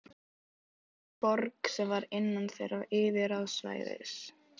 Borg sem var innan þeirra yfirráðasvæðis.